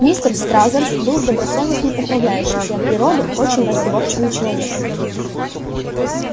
мистер стразерс был добросовестным управляющим и от природы очень разговорчивым человеком